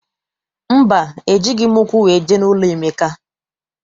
Mba, ejighị m ụkwụ wee jee n'ụlọ Emeka.